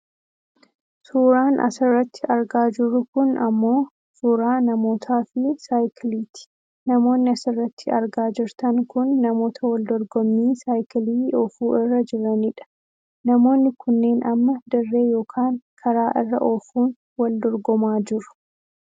Suuraan asirratti argaa jirru kun ammoo suuraa namoota fi saayikiiti namoonni asirratti argaa jirtan kun namoota wal dorgommii saayikilii oofuu irra jiranidha, namoonni kunneen amma dirree yookaan karaa irra oofuun wal dorgomaa jiru.